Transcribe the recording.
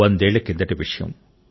వందేళ్ల కిందటి విషయం